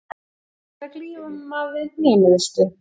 Hann hefur verið að glíma við hnémeiðsli.